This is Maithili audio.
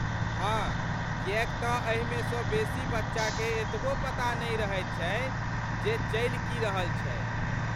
हाँ ,किएक तँ एहिमे सँ बेसी बच्चाकेँ एतबो पता नहि रहैत छै जे चलि की रहल छै।